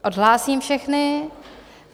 Odhlásím všechny.